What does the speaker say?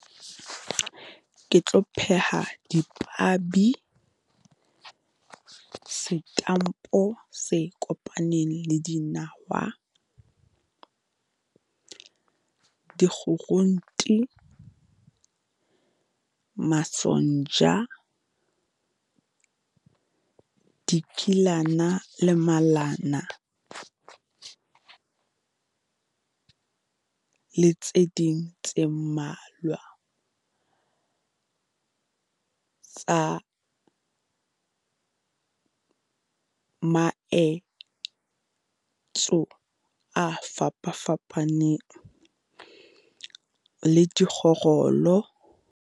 Ke tlo pheha dipabi, setampo se kopaneng le dinawa. Di di masonja, dikilana le malana le tse ding tse mmalwa. Tsa maetso a fapa fapaneng le dikgorolo.